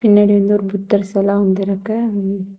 பின்னாடி வந்து ஒரு புத்தர் செல அமந்து இருக்கு ம்ம்.